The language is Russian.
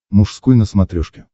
мужской на смотрешке